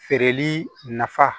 Feereli nafa